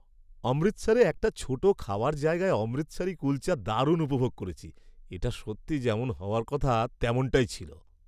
অমৃতসরে একটা ছোট খাওয়ার জায়গার অমৃতসারি কুলচা দারুণ উপভোগ করেছি। এটা সত্যি যেমন হওয়ার কথা তেমনটাই ছিল।